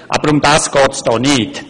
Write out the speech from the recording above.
Doch darum geht es hier nicht.